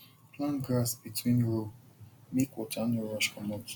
plant grass between row make water no rush comot